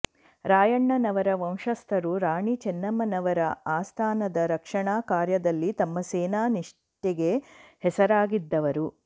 ರಾಯಣ್ಣನವರ ವಂಶಸ್ಥರು ರಾಣಿ ಚೆನ್ನಮ್ಮನವರ ಆಸ್ಥಾನದ ರಕ್ಷಣಾ ಕಾರ್ಯದಲ್ಲಿ ತಮ್ಮ ಸೇನಾ ನಿಷ್ಠೆಗೆ ಹೆಸರಾಗಿದ್ದವರು